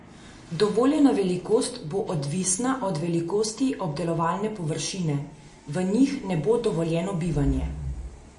Dovoljena velikost bo odvisna od velikosti obdelovalne površine: "V njih ne bo dovoljeno bivanje.